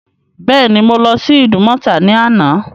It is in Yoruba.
Bẹ́ẹ̀ ni, Mo lọ́ sí Ìdúmọ̀tà ní àná.